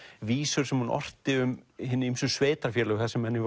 vísur sem hún orti um hin ýmsu sveitarfélög þar sem henni